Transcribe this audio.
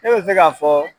Ne bɛ se ka fɔ